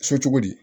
So cogo di